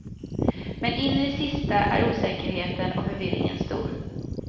Men in i det sista är osäkerheten och förvirringen stor.